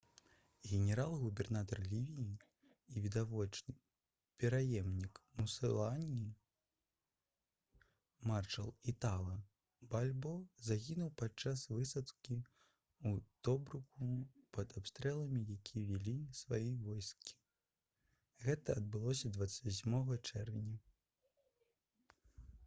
генерал-губернатар лівіі і відавочны пераемнік мусаліні маршал італа бальбо загінуў падчас высадкі ў тобруку пад абстрэлам які вялі свае войскі гэта адбылося 28 чэрвеня